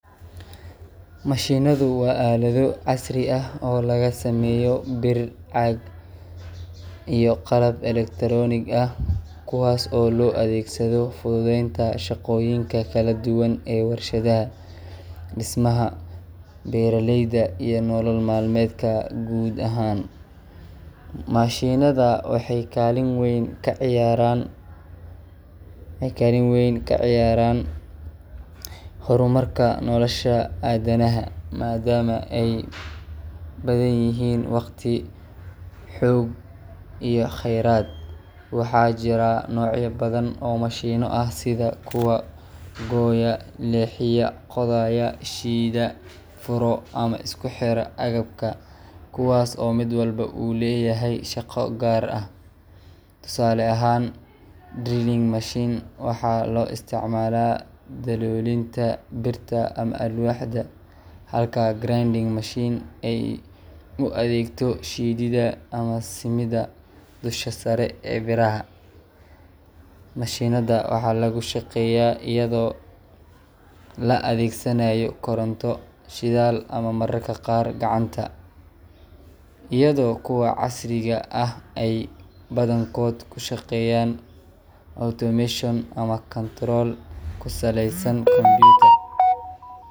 Mashinada waa alad casri ah oo lagu sameeyo bir iyi caag, kuwaas oo loo adeegsado adeegyo kala duban, waxeey kalin weyn kaciyaan hor marka, waxaa jiraa nocya badan, kuwaas oo mid walbo uu leyahay shaqa gear ah, halka aay ua adeegto, waxaa lagu shaqeeya ayado la adeegsanaayo shidaal iyi koronta, kuwa casriga waxeey ku shaqeeyan kontorol.